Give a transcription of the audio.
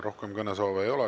Rohkem kõnesoove ei ole.